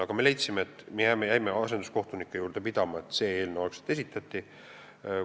Aga me jäime asenduskohtunike juurde pidama ning see eelnõu esitati.